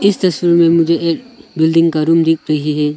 इस तस्वीर में मुझे एक बिल्डिंग का रूम दिख रही है।